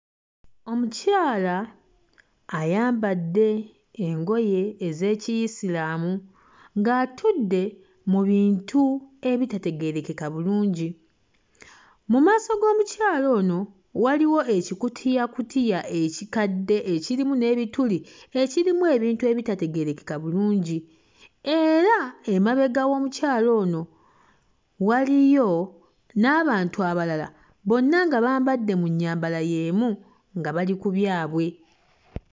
Omukyala ayambadde engoye ez'Ekiyisiraamu ng'atudde mu bintu ebitategeerekeka bulungi. Mu maaso g'omukyala ono waliwo ekikutiyakutiya ekikadde ekirimu n'ebituli ekirimu ebintu ebitategeerekeka bulungi era emabega w'omukyala ono waliyo n'abantu abalala, bonna nga bambadde mu nnyambala y'emu, nga bali ku byabwe.